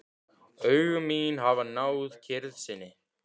Augu mín hafa náð kyrrð sinni.